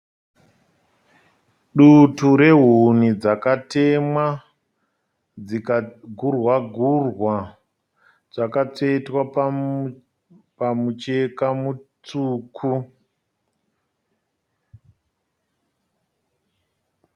Dutu rehuni dzakakatemwa, dzikagurwa gurwa dzakatsvetwa pamucheka mutsvuku.